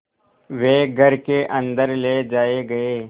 वे घर के अन्दर ले जाए गए